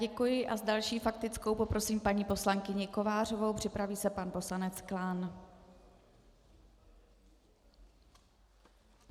Děkuji a s další faktickou poprosím paní poslankyni Kovářovou, připraví se pan poslanec Klán.